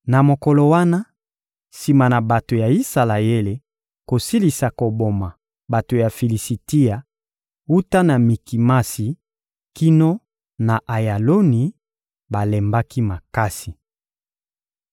Na mokolo wana, sima na bato ya Isalaele kosilisa koboma bato ya Filisitia wuta na Mikimasi kino na Ayaloni, balembaki makasi.